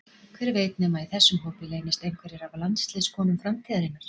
Hver veit nema að í þessum hópi leynist einhverjar af landsliðskonum framtíðarinnar?